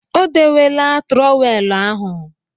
O dewela trọweelụ ahụ.